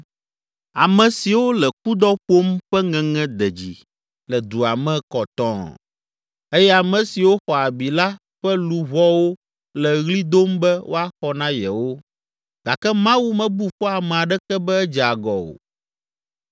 Ame siwo le kudɔ ƒom ƒe ŋeŋe de dzi le dua me kɔtɔɔ eye ame siwo xɔ abi la ƒe luʋɔwo le ɣli dom be woaxɔ na yewo, gake Mawu mebu fɔ ame aɖeke be edze agɔ o.